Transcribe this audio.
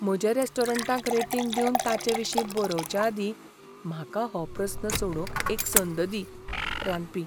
म्हज्या रॅस्टोरंटाक रेटींग दिवन ताचेविशीं बरवचे आदीं म्हाका हो प्रस्न सोडवंक एक संद दी. रांदपी